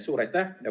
Suur aitäh!